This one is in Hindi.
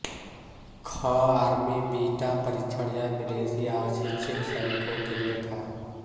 ख आर्मी बीटा परीक्षण यह विदेशी अशिक्षित सैनिकों के लिए था